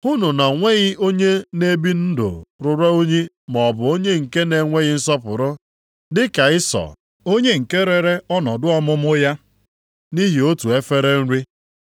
Hụnụ na o nweghị onye na-ebi ndụ ruru unyi maọbụ onye nke na-enweghị nsọpụrụ dịka Ịsọ, onye nke rere ọnọdụ ọmụmụ ya nʼihi otu efere nri.